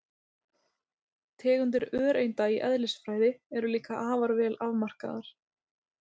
Tegundir öreinda í eðlisfræði eru líka afar vel afmarkaðar.